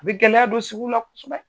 U bɛ gɛlɛya don sugu la kosɛbɛ